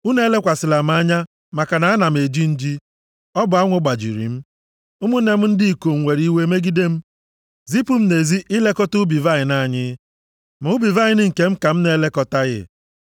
Unu elekwasịla m anya, maka na m na-eji nji. Ọ bụ anwụ gbajiri m. Ụmụnne m ndị ikom were iwe megide m, zipụ m nʼezi ilekọta ubi vaịnị anyị, ma ubi vaịnị nke m ka m na-elekọtaghị.